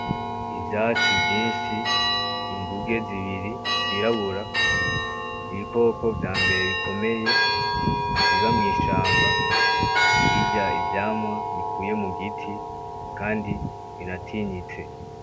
Ivyatsi vyishi ,inguge zibiri zirabura ibikoko vya mbere bikomeye biba mu ishamba birya ivyamwa bikuye mu giti kandi binatinyitse.